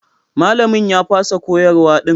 Malamin ya fasa koyarwa din.